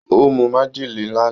Ó mu májèlé lánàá.